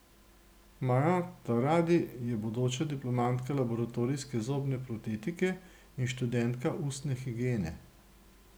Maja Taradi je bodoča diplomantka laboratorijske zobne protetike in študentka ustne higiene.